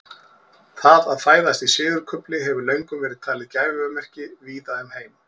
Það að fæðast í sigurkufli hefur löngum verið talið gæfumerki víða um heim.